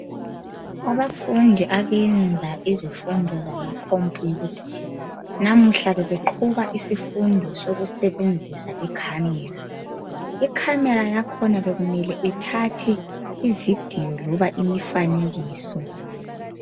Abafundi abenza izifundo zama computer namuhla bebeqhuba isifundo sokusebenzisa icamera, icamera yakhona bekumele ithathe ivideo loba imifanekiso.